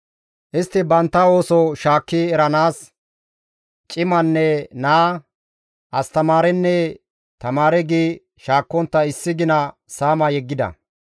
Istti bantta ooso shaakki eranaas cimanne naa, astamaarenne tamaare gi shaakkontta issi gina saama yeggida.